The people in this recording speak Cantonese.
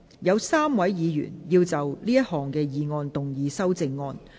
有3位議員要就這項議案動議修正案。